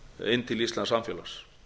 inn til íslensks samfélags